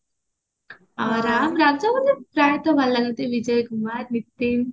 ଆଉ ରାମ ରାଜା ମତେ ପ୍ରାୟେ ତ ଭଲ ଲାଗନ୍ତି ବିଜୟ କୁମାର ଭିକ୍ତିମ